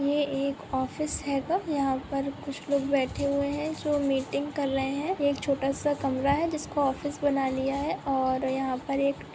ये एक ऑफिस हैगा यहाँ पर कुछ लोग बैठे हुए है जो मीटिंग कर रहे है एक छोटासा कमरा है जिसको ऑफिस बना लिया है और यहाँ पर एक--